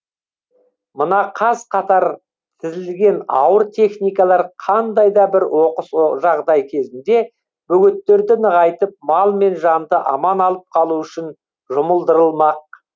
мына қаз қатар тізілген ауыр техникалар қандай да бір оқыс жағдай кезінде бөгеттерді нығайтып мал мен жанды аман алып қалу үшін жұмылдырылмақ